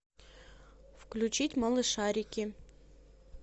включить малышарики